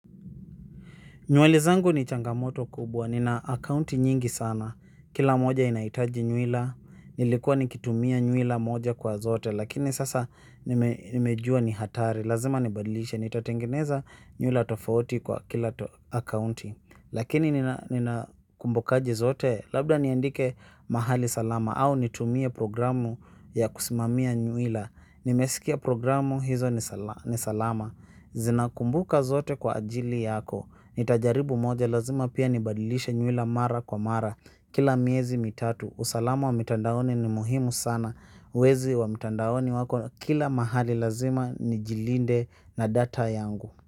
Nyuali zangu ni changamoto kubwa, nina akaunti nyingi sana, kila moja inaitaji nyuila, nilikua nikitumia nyuila moja kwa zote, lakini sasa nimejua ni hatari, lazima nibadilishe, nitatengeneza nyuila tofauti kwa kila akaunti, lakini nina kumbukaje zote, labda niandike mahali salama, au nitumia programu ya kusimamia nyuila, nimesikia programu hizo ni salama, zinakumbuka zote kwa ajili yako, nita jaribu moja lazima pia ni badilisha nyuila mara kwa mara. Kila miezi mitatu usalama wa mitandaoni ni muhimu sana. Wezi wa mtandaoni wako kila mahali lazima nijilinde na data yangu.